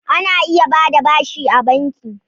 Ana iya ba da bashi a banki.